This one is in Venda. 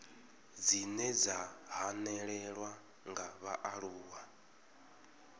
dzine dza hanelelwa nga vhaaluwa